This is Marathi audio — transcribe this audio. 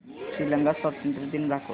श्रीलंका स्वातंत्र्य दिन दाखव